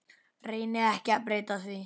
Reyni ekki að breyta því.